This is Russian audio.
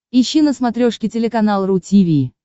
ищи на смотрешке телеканал ру ти ви